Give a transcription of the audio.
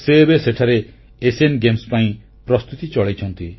ସେ ଏବେ ସେଠାରେ ଏସୀୟ କ୍ରୀଡା ପାଇଁ ପ୍ରସ୍ତୁତି ଚଳାଇଛନ୍ତି